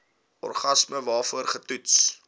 organisme waarvoor getoets